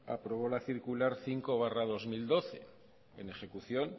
aprobó la circular cinco barra dos mil doce en ejecución